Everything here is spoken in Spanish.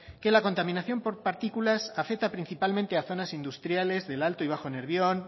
que la contaminación por partículas afecta principalmente a zonas industriales del alto y bajo nervión